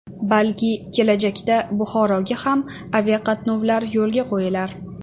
Balki, kelajakda Buxoroga ham aviaqatnovlar yo‘lga qo‘yilar.